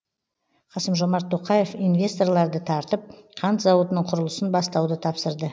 қасым жомарт тоқаев инвесторларды тартып қант зауытының құрылысын бастауды тапсырды